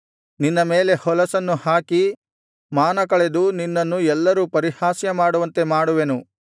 ನಿನ್ನ ಮೇಲೆ ಹೊಲಸನ್ನು ಹಾಕಿ ಮಾನಕಳೆದು ನಿನ್ನನ್ನು ಎಲ್ಲರೂ ಪರಿಹಾಸ್ಯ ಮಾಡುವಂತೆ ಮಾಡುವೆನು